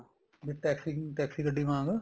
taxi taxi ਗੱਡੀ ਵਾਂਗ